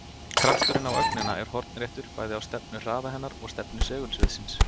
Krafturinn á ögnina er hornréttur bæði á stefnu hraða hennar og stefnu segulsviðsins.